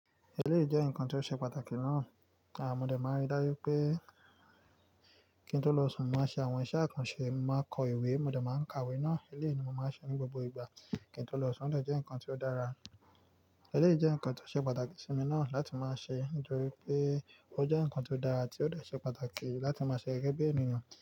Eléyì jẹ́ ǹkan tó ṣe pàtàkì náà, à mọ́ dẹ̀ máa rí dájú pé kí n tó lọ sùn, màá ṣe àwọn iṣẹ́ àkànṣe, màá kọ ìwé, mo dẹ̀ máa ń kàwé náà. Eléyì ni mo máa ń ṣe ní gbogbo ìgbà kí n tó lọ sùn, ó dẹ̀ jẹ́ nkan tó dára. Eléyì jẹ́ ǹkan tó ṣe pàtàkì sí mi náà láti máa ṣe nítorí pé ó jẹ́ ǹkan tó dára àti ó dẹ̀ ṣe pàtàkì láti máa ṣe gẹ́gẹ́ bi ènìyàn.